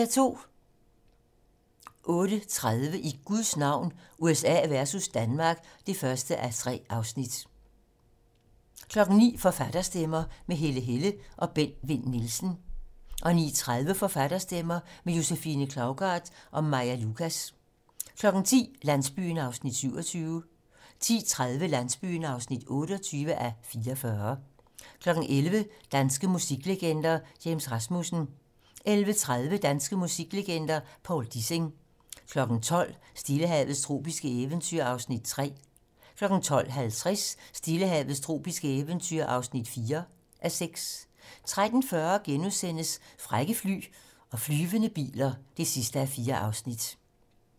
08:30: I Guds navn - USA versus Danmark (1:3) 09:00: Forfatterstemmer - med Helle Helle og Bent Vinn Nielsen 09:30: Forfatterstemmer - med Josefine Klougart og Maja Lucas 10:00: Landsbyen (27:44) 10:30: Landsbyen (28:44) 11:00: Danske musiklegender: James Rasmussen 11:30: Danske musiklegender: Povl Dissing 12:00: Stillehavets tropiske eventyr (3:6) 12:50: Stillehavets tropiske eventyr (4:6) 13:40: Frække fly og flyvende biler (4:4)*